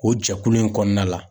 O jɛkulu in kɔnɔna la